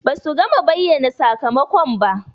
Ba su gama bayyana sakamakon ba.